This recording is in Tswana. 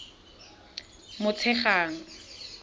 motshegang